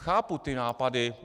Chápu ty nápady.